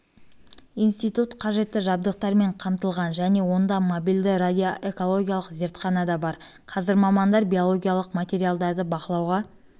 институт қажетті жабдықтармен қамтылған және онда мобильді радиоэкологиялық зертхана да бар қазір мамандар биологиялық материалдарды бақылауға